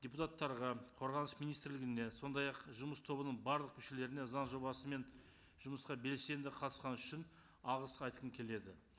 депутаттарға қорғаныс министрлігіне сондай ақ жұмыс тобының барлық мүшелеріне заң жобасымен жұмысқа белсенді қатысқаны үшін алғыс айтқым келеді